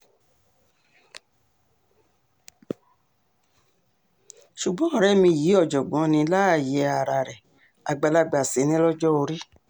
ṣùgbọ́n ọ̀rẹ́ mi yìí ọ̀jọ̀gbọ́n ní láàyè ara rẹ̀ àgbàlagbà sì ni lọ́jọ́ orí